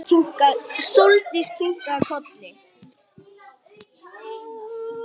Sóldís kinkaði kolli.